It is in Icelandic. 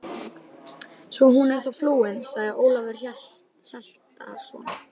Svo hún er þá flúin, sagði Ólafur Hjaltason.